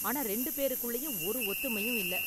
ஆனா ரெண்டு பேருக்குள்ளயும் ஒரு ஒத்துமையும் இல்ல.